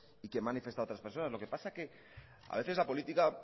y que han manifestado otras personas lo que pasa que a veces la política